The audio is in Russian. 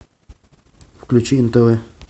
включи нтв